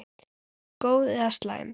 Góð eða slæm?